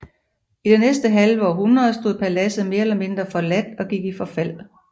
I det næste halve århundrede stod paladset mere eller mindre forladt og gik i forfald